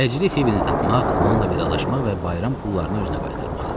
Təcili Fibi'ni tapmaq, onunla vidalaşmaq və bayram pullarını özünə qaytarmaq.